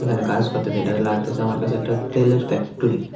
ওখানে কাস কত্তাসে এটাতে লাগতেসে আমার কাছে একটা তেলের ফ্যাক্টরি ।